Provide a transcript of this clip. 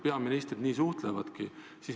Peaministrid nii suhtlevadki.